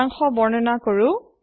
সাৰাংশ বৰ্ননা কৰা হৈছে